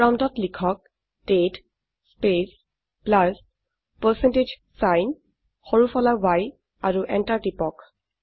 প্ৰম্পটত লিখক দাঁতে স্পেচ প্লাছ পাৰচেণ্টেজ ছাইন সৰু ফলা y আৰু এন্টাৰ টিপক